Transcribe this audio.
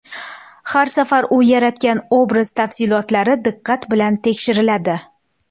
Har safar u yaratgan obraz tafsilotlari diqqat bilan tekshiriladi.